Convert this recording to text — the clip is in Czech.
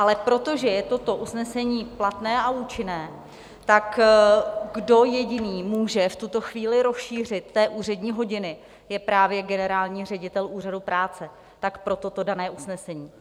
Ale protože je toto usnesení platné a účinné, tak kdo jediný může v tuto chvíli rozšířit ty úřední hodiny, je právě generální ředitel Úřadu práce, tak proto to dané usnesení.